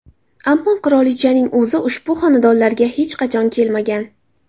Ammo qirolichaning o‘zi ushbu xonadonlarga hech qachon kelmagan.